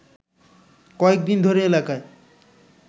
কয়েকদিন ধরে এলাকায়